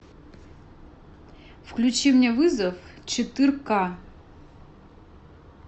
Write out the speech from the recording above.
включи мне вызов четырка